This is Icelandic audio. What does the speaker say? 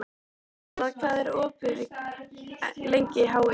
Petronella, hvað er opið lengi í HÍ?